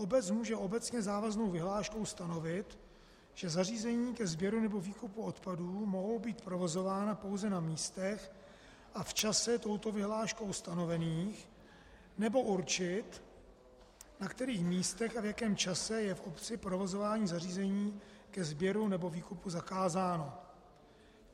Obec může obecně závaznou vyhláškou stanovit, že zařízení ke sběru nebo výkupu odpadů mohou být provozována pouze na místech a v čase touto vyhláškou stanovených, nebo určit, na kterých místech a v jakém čase je v obci provozování zařízení ke sběru nebo výkupu zakázáno.